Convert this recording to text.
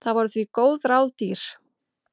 Það voru því góð ráð dýr.